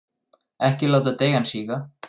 Ekki láta deigan síga.